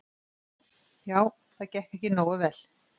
Já, það gekk ekki nógu vel.